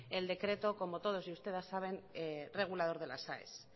el decreto como todos ustedes saben regulador de las aes